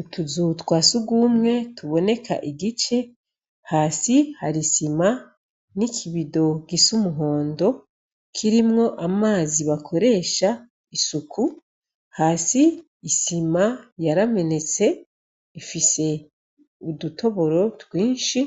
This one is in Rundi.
Utuzu twa sugumwe tuboneka igice, hasi hari isima n'ikibido gisa umuhondo kirimwo amazi bakoresha isuku, hasi isima yaramenetse ifise udutoboro twinshi,